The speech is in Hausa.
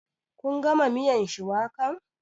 Kun gama miyan shuwakan?